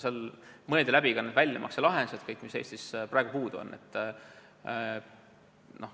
Seal mõeldi läbi ka need väljamakselahendused, mis Eestis praegu puudu on.